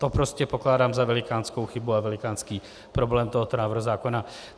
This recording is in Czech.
To prostě pokládám za velikánskou chybu a velikánský problém tohoto návrhu zákona.